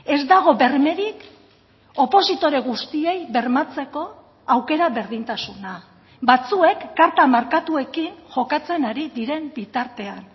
ez dago bermerik opositore guztiei bermatzeko aukera berdintasuna batzuek karta markatuekin jokatzen ari diren bitartean